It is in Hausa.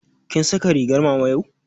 Kin saka ringar mama yau?